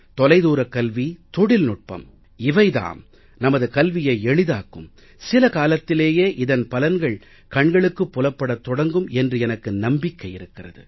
தொலைதூரக் கல்வி தொழில்நுட்பம் இவை தாம் நமது கல்வியை எளிதாக்கும் சில காலத்திலேயே இதன் பலன்கள் கண்களுக்குப் புலப்படத் தொடங்கும் என்று எனக்கு நம்பிக்கை இருக்கிறது